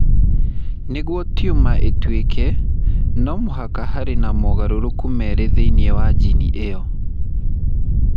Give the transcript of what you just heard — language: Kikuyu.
Nĩguo tumor ĩtuĩke, no mũhaka harĩ na mogarũrũku merĩ thĩinĩ wa jini ĩyo.